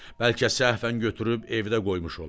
Bəlkə səhvən götürüb evdə qoymuş olam.